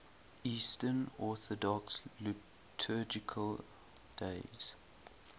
eastern orthodox liturgical days